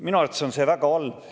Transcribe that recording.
Minu arvates on see väga halb.